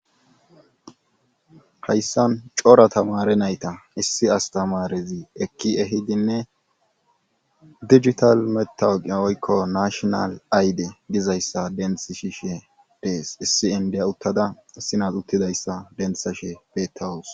Hayssan cora tamare nayta issi astamarezi ekki ehidinne digital matawoqi oykko nashonal ayde dizayssa dentishe dees issi indiy uttada sinat uttidayssa denthashe betawus.